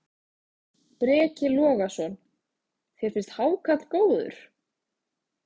Breki Logason: Þér finnst hákarl góður?